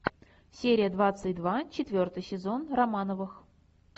серия двадцать два четвертый сезон романовых